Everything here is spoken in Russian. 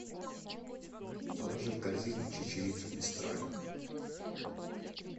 положи в корзину чечевицу мистраль